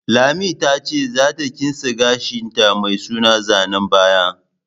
Lami ta ce za ta kitse gashin ta mai suna zanen baya